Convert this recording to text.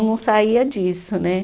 Não saía disso, né?